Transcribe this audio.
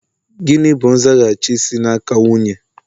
Gịnị bụ nzaghachi si n'aka nwunye?